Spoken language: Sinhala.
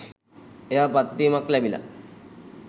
එයා පත්වීමක් ලැබිලා